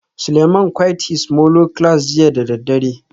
Suleiman quite his molo class jiya da daddare